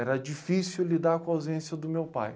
Era difícil lidar com a ausência do meu pai.